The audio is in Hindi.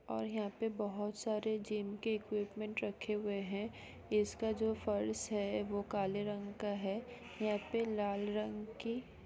और यहाँ पे बहुत सारे जिम के इक्विपमेंट रखे हुऐ है इसका जो फर्श है वो काले रंग का है यहाँ पे लाल रंग की--